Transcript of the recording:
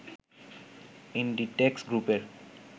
Inditex গ্রুপের